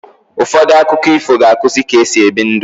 Ụfọdụ akụkọ ifo ga-akuzi ka-esi ebi ndu